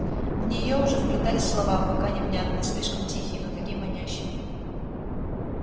в нее уже вплетались слова пока невнятные слишком тихие но такие манящие